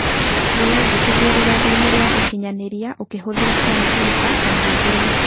Wĩnyandĩkithie rũrenda-inĩ rwa ũkinyanĩria ũkĩhũthĩra komupiuta kana thimũ.